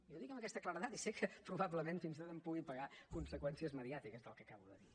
i ho dic amb aquesta claredat i sé que probablement fins i tot en pugui pagar conseqüències mediàtiques del que acabo de dir